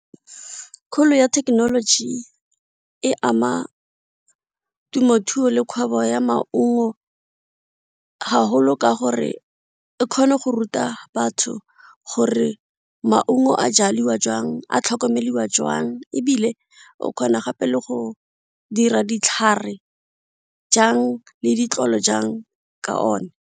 Kgolo ya thekenoloji e ama temothuo le kgwebo ya maungo haholo ka gore e kgone go ruta batho gore maungo a jaliwa jwang, a tlhokomelwa jwang ebile o kgona gape le go dira ditlhare jang le ditlolo jang ka one.